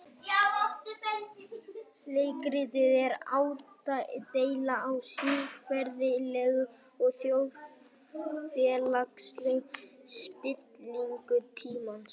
Leikritið er ádeila á siðferðilega og þjóðfélagslega spillingu tímans.